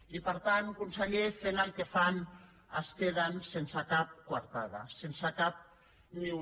i per tant conseller fent el que fan es queden sense cap coartada sense cap ni una